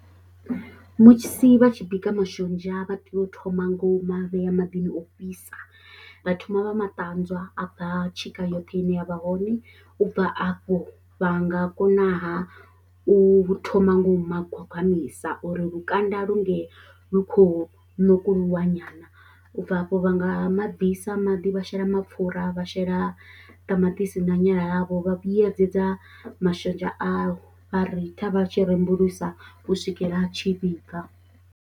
Musi vha tshi bika mashonzha vha tea u thoma ngo u ma vhea maḓini o fhisa vha thoma vha matanzwa a bva tshika yoṱhe ine ya vha hone u bva afho vha nga konaha u thoma ngo u ma gwagwamisa uri lukanda lunge lu khou ṋokuluwa nyana, ubva afho vha nga ma bvisa maḓi vha shela mapfhura, vha shela ṱamaṱisi na nyala ḽavho vha vhuyedzedza mashonzha awo vha ritha vha tshi rembulusa u swikela a tshi vhibva.